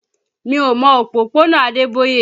Mi ò mọ òpópónà Adeboye